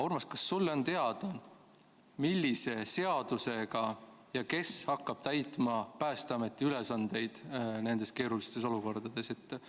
Urmas, kas sulle on teada, millise seaduse alusel ja kes hakkab täitma Päästeameti ülesandeid nendes keerulistes olukordades?